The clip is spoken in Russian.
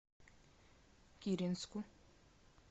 киренску